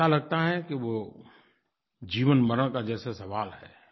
ऐसा लगता है कि वो जीवनमरण का जैसे सवाल है